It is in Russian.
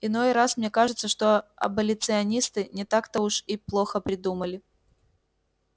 иной раз мне кажется что аболиционисты не так-то уж и плохо придумали